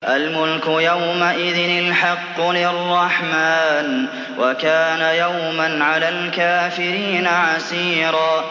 الْمُلْكُ يَوْمَئِذٍ الْحَقُّ لِلرَّحْمَٰنِ ۚ وَكَانَ يَوْمًا عَلَى الْكَافِرِينَ عَسِيرًا